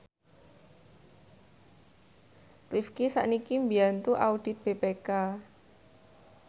Rifqi sakniki mbiyantu audit BPK